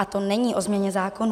A to není o změně zákonů.